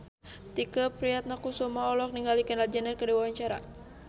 Tike Priatnakusuma olohok ningali Kendall Jenner keur diwawancara